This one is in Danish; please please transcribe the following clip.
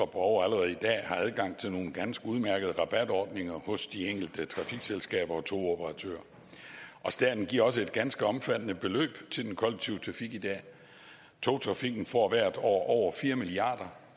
borgere allerede i dag har adgang til nogle ganske udmærkede rabatordninger hos de enkelte trafikselskaber og togoperatører staten giver også et ganske omfattende beløb til den kollektive trafik i dag togtrafikken får hvert år over fire milliard